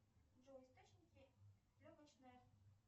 джой источники легочной